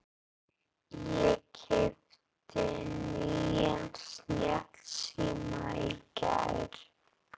Ég keypti nýjan snjallsíma í gær.